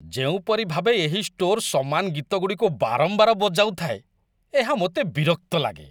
ଯେଉଁପରି ଭାବେ ଏହି ଷ୍ଟୋର୍ ସମାନ ଗୀତଗୁଡ଼ିକୁ ବାରମ୍ବାର ବଜାଉଥାଏ, ଏହା ମୋତେ ବିରକ୍ତ ଲାଗେ।